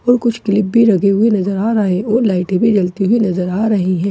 और कुछ क्लिप भी लगे हुए नजर आ रहा है और लाइटे भी जलती हुई नजर आ रही है।